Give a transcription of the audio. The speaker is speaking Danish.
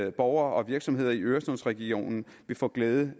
at borgere og virksomheder i øresundsregionen vil få glæde